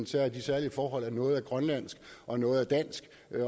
særlige særlige forhold at noget er grønlandsk og noget er dansk